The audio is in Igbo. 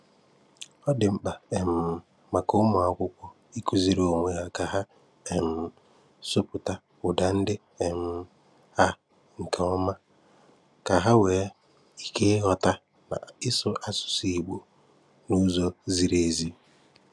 Ọ dị mkpa um maka ụmụ́akwụ̀kwọ ịkụ̀zìrì onwe hà ka hà um sụ̀pụ̀tà ụ́dá ndị um a nke ọma, ka hà nwee ike ịghọ̀ta na ìsụ asụ̀sụ́ Ìgbò n’ụ́zọ̀ zìrì ézì.